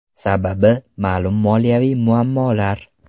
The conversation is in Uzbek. Sababi: ma’lum moliyaviy muammolar.